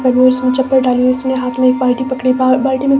उसने चप्पल डाली उसने हाथ में एक बाल्टी पकड़ी बा बाल्टी में--